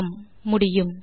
ஆம் முடியும்